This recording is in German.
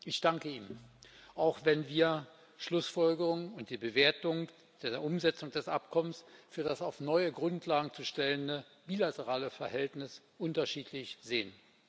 Ich danke Ihnen, auch wenn wir die Schlussfolgerung und die Bewertung der Umsetzung des Abkommens für das auf neue Grundlagen zu stellende bilaterale Verhältnis unterschiedlich sehen.